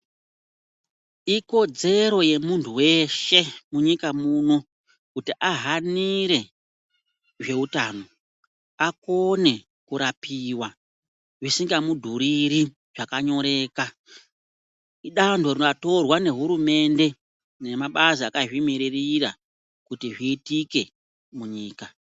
Ikodzero yemuntu weshe munyika muno kuti ahanire zveutano akone kurapiwa zvisingamudhuriri zvakanyoreka idanho ratorwa ngehurumende nemabazi akazvimiririra kuti zviitike munyika.